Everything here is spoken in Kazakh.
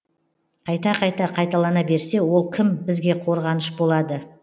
қайта қайта қайталана берсе ол кім бізге қорғаныш болады